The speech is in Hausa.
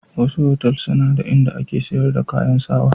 Wasu otal suna da in da ake sayar da kayan sawa.